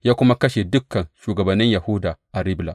Ya kuma kashe dukan shugabannin Yahuda a Ribla.